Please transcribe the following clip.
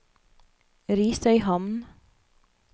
Risøyhamn